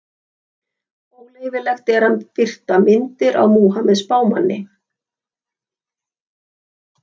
Óleyfilegt er að birta myndir af Múhameð spámanni.